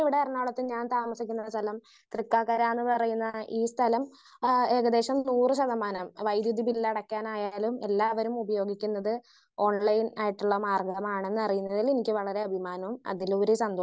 speaker 1 ഇവിടെ എറണാകുളത്ത് ഞാൻ താമസിക്കുന്ന സ്ഥലം തൃക്കാക്കര എന്ന് പറയുന്ന ഈ സ്ഥലം ആഹ് ഏകദേശം നൂറ് ശതമാനം വൈദ്യുതി ബില്ല് അടക്കാനായാലും എല്ലാവരും ഉപയോഗിക്കുന്നത് ഓൺലൈൻ ആയിട്ടുള്ള മാർഗമാണെന്നറിയുന്നതിൽ എനിക്ക് വളരെ അഭിമാനവും അതിലുപരി